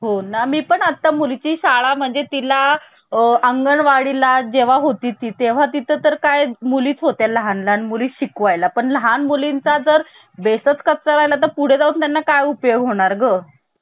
निट लक्षात घ्या गोपालस्वामी अयंगार आणि अल्लादि कृष्ण स्वामी अय्यर हे South indian आहे. आता यांनतर N माधवराव हे तुम्हाला दोन नाव लक्षात ठेवायची आहे. N माधवराव चे हे